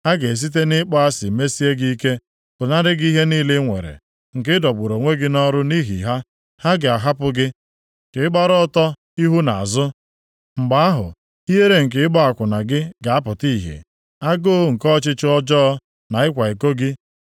Ha ga-esite nʼịkpọ asị mesie gị ike, pụnara gị ihe niile i nwere nke ị dọgburu onwe gị nʼọrụ nʼihi ha. Ha ga-ahapụ gị ka ịgbara ọtọ ihu na azụ, mgbe ahụ ihere nke ịgba akwụna gị ga-apụta ihe. Agụụ nke ọchịchọ ọjọọ na ịkwa iko gị